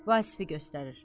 Vasifi göstərir.